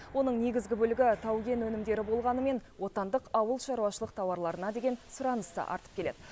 оның негізгі бөлігі тау кен өнімдері болғанымен отандық ауылшаруашылық тауарларына деген сұраныс та артып келеді